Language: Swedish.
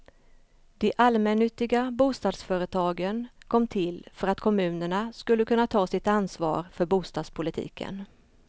De allmännyttiga bostadsföretagen kom till för att kommunerna skulle kunna ta sitt ansvar för bostadspolitiken.